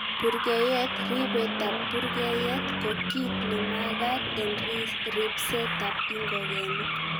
Purgeyet:Ribetab purgeyet ko kit nemagat en ribsetab ingogenik.